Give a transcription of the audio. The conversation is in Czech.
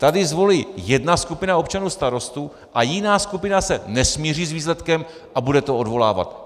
Tady zvolí jedna skupina občanů starostu a jiná skupina se nesmíří s výsledkem a bude to odvolávat.